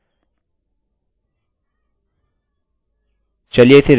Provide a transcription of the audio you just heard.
आगे हम postphp font में हैं और वहाँ कोई भी प्रश्नचिन्ह नहीं है